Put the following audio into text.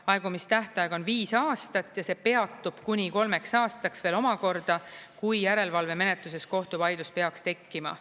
Aegumistähtaeg on viis aastat ja see peatub kuni kolmeks aastaks veel omakorda, kui järelevalvemenetluses kohtuvaidlus peaks tekkima.